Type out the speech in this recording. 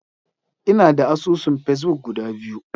Ina da asusun Facebook guda biyu.